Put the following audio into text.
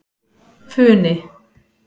Funi